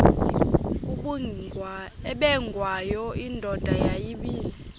ubengwayo indoda yayibile